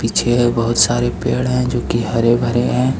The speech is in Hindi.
पीछे है बहुत सारे पेड़ है जो कि हरे भरे हैं ।